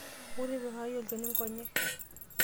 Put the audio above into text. Wou tipikaki olchani nkonyek.